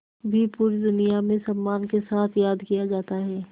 भी पूरी दुनिया में सम्मान के साथ याद किया जाता है